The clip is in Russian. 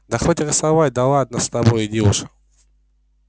да хоть и рисовать да ладно с тобой иди уж